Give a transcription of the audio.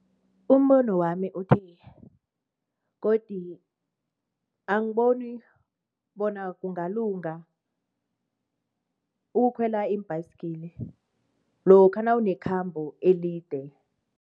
Umbono wami uthi godi angiboni bona kungalunga ukukhwela iimbhayisigiri lokha nawunekhabo elide.